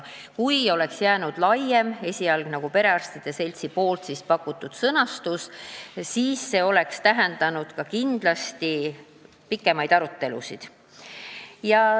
Kui oleks jäänud laiem, esialgne, perearstide seltsi pakutud sõnastus, siis see oleks tähendanud kindlasti pikemaid arutelusid.